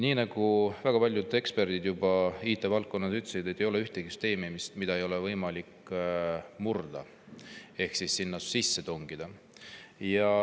Nii nagu juba väga paljud IT‑valdkonna eksperdid on öelnud, ei ole ühtegi süsteemi, mida ei ole võimalik murda ehk sinna sisse tungida.